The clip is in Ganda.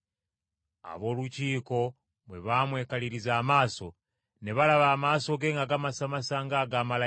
Ab’Olukiiko bwe baamwekaliriza amaaso, ne balaba amaaso ge ng’amasamasa ng’aga malayika!